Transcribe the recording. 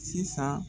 Sisan